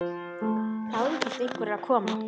Gáðu hvort einhver er að koma.